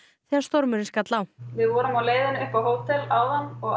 þegar stormurinn skall á við vorum á leiðinni upp á hótel áðan og